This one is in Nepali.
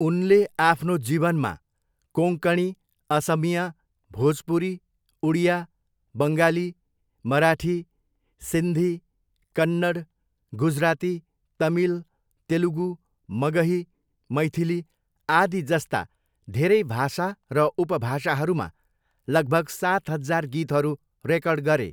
उनले आफ्नो जीवनमा कोङ्कणी, असमिया, भोजपुरी, उडिया, बङ्गाली, मराठी, सिन्धी, कन्नड, गुजराती, तमिल, तेलुगु, मगही, मैथिली, आदि जस्ता धेरै भाषा र उपभाषाहरूमा लगभग सात हजार गीतहरू रेकर्ड गरे।